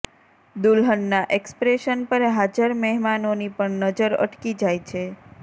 દુલ્હનના expression પર હાજર મહેમાનોની પણ નજર અટકી જાય છે